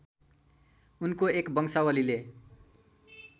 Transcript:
उनको एक बंशावलीले